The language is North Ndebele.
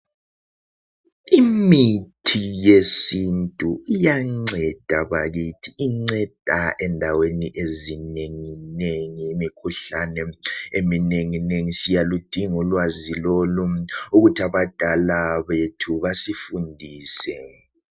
Imithi yesintu iyanceda bakithi. Inceda endaweni ezinenginengi, imikhuhlane eminenginengi. Siyaludinga ulwazi lolu ukuthi abadala bethu basifundise.